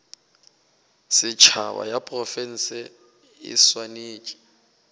setšhaba ya diprofense e swanetše